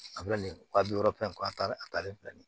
A bɛna nin wa bi wɔɔrɔ fɛn kɔ a talen a talen filɛ nin ye